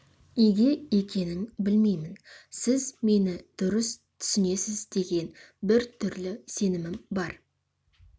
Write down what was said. неге екенін білмеймін сіз мені дұрыс түсінесіз деген бір түрлі сенімім бар